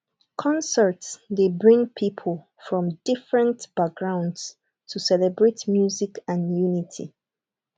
concerts dey bring people from different backgrounds to celebrate music and unity